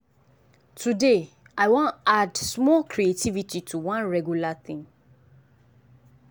today i wan add small creativity to one regular thing.